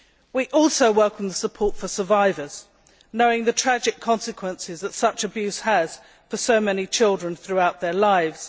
We also welcome support for survivors knowing the tragic consequences that such abuse has for so many children throughout their lives.